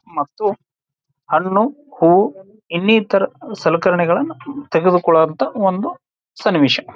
ಮತ್ತು ಹಣ್ಣು ಹೂ ಇನ್ನಿತರ ಸಲಕರಣೆಗಳನ್ನ ತೆಗೆದುಕೊಳ್ಳುವಂತ ಒಂದು ಸನ್ನಿವೇಶ.